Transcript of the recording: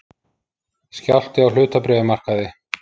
Skjálfti á hlutabréfamarkaði